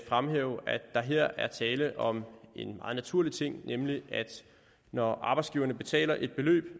fremhæve at der her er tale om en meget naturlig ting nemlig at når arbejdsgiverne betaler et beløb